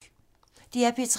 DR P3